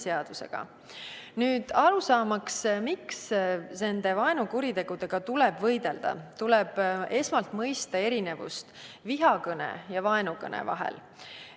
Saamaks aru, miks vaenukuritegudega tuleb võidelda, tuleb esmalt mõista erinevust vihakõne ja vaenukõne vahel.